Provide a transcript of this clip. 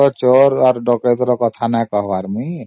ଚୋର ଡକାୟତ ର କଥା ଏଠି ମୁଁ କହୁନି